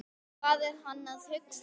Hvað er hann að hugsa?